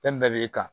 Fɛn min bɛɛ b'e kan